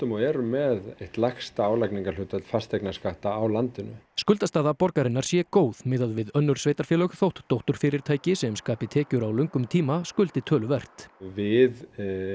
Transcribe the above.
og erum með eitt lægsta álagningarhlutfall fasteignaskatta á landinu skuldastaða borgarinnar sé góð miðað við önnur sveitarfélög þótt dótturfyrirtæki sem skapi tekjur á löngum tíma skuldi töluvert við